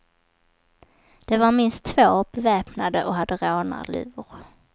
De var minst två, beväpnade och hade rånarluvor.